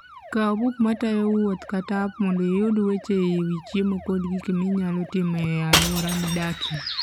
Kaw buk matayo wuoth kata app mondo iyud weche e wi chiemo kod gik minyalo timo e alwora midakie.